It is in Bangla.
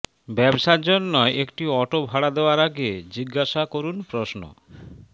ব্যবসার জন্য একটি অটো ভাড়া দেওয়ার আগে জিজ্ঞাসা করুন প্রশ্ন